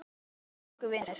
Hvíl í friði elsku vinur!